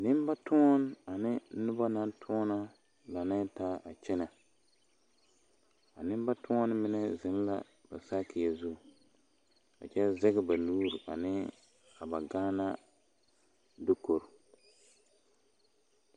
Nembatuoni ane nebanatuona la laŋɛɛ taa a kyɛnɛ a nembatuoni mine zeŋ la ba sakiyɛ zu a kyɛ zege ba nuuri ne a ba Gaana diko.